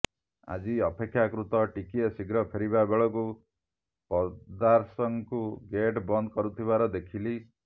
ଆଜି ଅପେକ୍ଷାକୃତ ଟିକିଏ ଶୀଘ୍ର ଫେରିବା ବେଳକୁ ପଦସାର୍ଙ୍କୁ ଗେଟ୍ ବନ୍ଦ କରୁଥିବାର ଦେଖିଲି